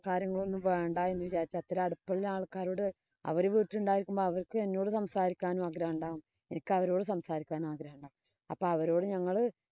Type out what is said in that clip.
കാര്യങ്ങളോ ഒന്നും വേണ്ടാ എന്നു തീരുമാനിച്ചു. അത്ര അടുപ്പം ഉള്ള ആള്‍ക്കാരോട് അവര് വീട്ടില്‍ ഉണ്ടായിരികുമ്പോ അവര്‍ക്ക് എന്നോട് സംസാരിക്കാനും ആഗ്രഹമുണ്ടാവും. എനിക്ക് അവരോട് സംസാരിക്കാനും ആഗ്രഹമുണ്ടാകും. അപ്പൊ അവരോട് ഞങ്ങള്